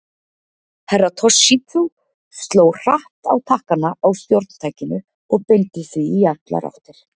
Herra Toshizo sló hratt á takkana á stjórntækinu og beindi því í allar áttir.